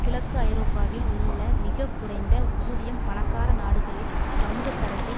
கிழக்கு ஐரோப்பாவில் உள்ள மிக குறைந்த ஊதியம் பணக்கார நாடுகளில் சமூகத்தரத்தை